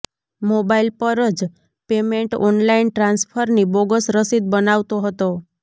mobile પર જ payment online ટ્રાન્સફરની બોગસ રસીદ બતાવતો હતો